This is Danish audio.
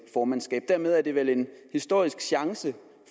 formandskab dermed er det vel en historisk chance